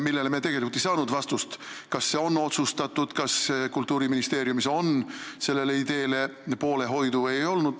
Praegu me tegelikult ei saanud vastust, kas asi on otsustatud, kas Kultuuriministeeriumis pooldatakse seda ideed või mitte.